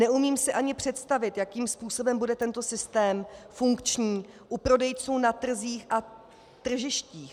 Neumím si ani představit, jakým způsobem bude tento systém funkční u prodejců na trzích a tržištích.